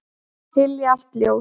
Hylja allt ljós.